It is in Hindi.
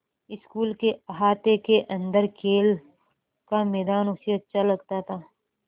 स्कूल के अहाते के अन्दर खेल का मैदान उसे अच्छा लगता था